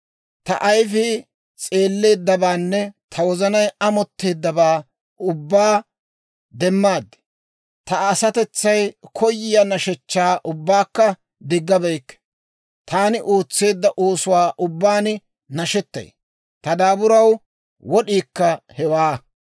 Ta ayifii s'eelleeddabaanne ta wozanay amotteeddabaa ubbaa demmaad; ta asatetsay koyiyaa nashshechchaa ubbaakka diggabeykke. Taani ootseedda oosuwaa ubbaan nashetay; ta daaburaw wod'iikka hewaa.